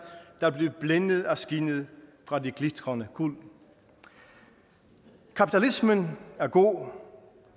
der blev blændet af skinnet fra det glitrende guld kapitalismen er god